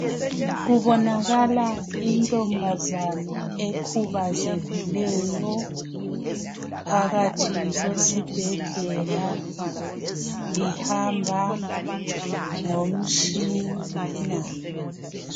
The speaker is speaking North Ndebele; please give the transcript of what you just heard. Kubonakala intombazana ekhubazekileyo phakathi kwesibhedlela ihamba ngomtshini.